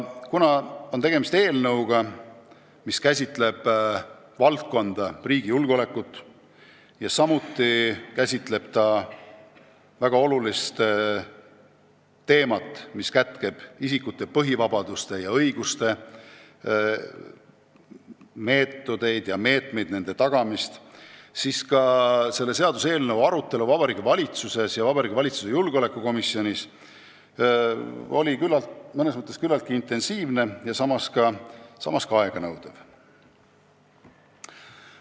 Kuna on tegemist eelnõuga, mis käsitleb riigi julgeolekut, aga samuti väga olulist teemat – isikute põhivabaduste ja -õiguste tagamise meetodeid ja meetmeid, siis oli eelnõu arutelu Vabariigi Valitsuses ja valitsuse julgeolekukomisjonis mõnes mõttes küllaltki intensiivne ja samas ka aeganõudev.